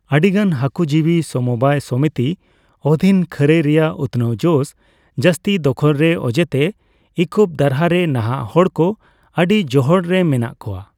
ᱟᱹᱰᱤᱜᱟᱱ ᱦᱟᱠᱩᱡᱤᱵᱤ ᱥᱚᱢᱚᱵᱟᱭ ᱥᱚᱢᱤᱛᱤ ᱚᱫᱷᱤᱱ ᱠᱷᱟᱹᱨᱟᱹᱭ ᱨᱮᱭᱟᱜ ᱩᱛᱱᱟᱹᱣ ᱡᱚᱥ, ᱡᱟᱹᱥᱛᱤ ᱫᱚᱠᱷᱚᱞᱨᱮ ᱚᱡᱮᱛᱮ ᱤᱠᱳᱯ ᱫᱟᱨᱦᱟ ᱨᱮ ᱱᱟᱦᱟᱜ ᱦᱚᱲ ᱠᱚ ᱟᱹᱰᱤ ᱡᱚᱦᱚᱲ ᱨᱮ ᱢᱮᱱᱟᱜ ᱠᱳᱣᱟ ᱾